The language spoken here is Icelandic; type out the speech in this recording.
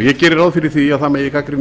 ég geri ráð fyrir því að það megi gagnrýna